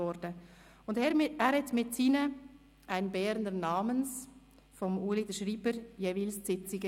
Er leitete die Sitzungen jeweils mit seinen «Ein Berner namens» von Ueli dem Schreiber ein.